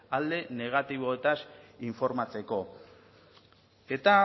alde negatiboetaz informatzeko eta